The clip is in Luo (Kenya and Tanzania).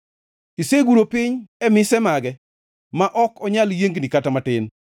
Iseguro piny e mise mage; ma ok onyal yiengni kata matin.